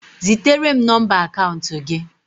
Zitere m nọmba akaụntụ gị!